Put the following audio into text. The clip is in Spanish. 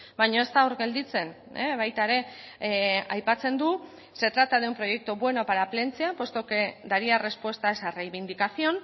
baina ez da hor gelditzen baita ere aipatzen du se trata de un proyecto bueno para plentzia puesto que daría respuesta a esa reivindicación